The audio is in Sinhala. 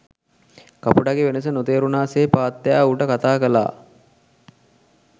කපුටගෙ වෙනස නොතේරුණා සේ පාත්තයා ඌට කතා කළා.